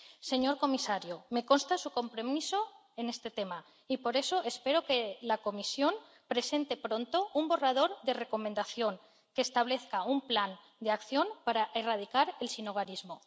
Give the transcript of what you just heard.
Señor comisario, me consta su compromiso en este tema, y por eso espero que la Comisión presente pronto un borrador de recomendación que establezca un plan de acción para erradicar el sinhogarismo.